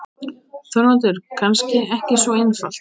ÞORVALDUR: Kannski ekki svo einfalt.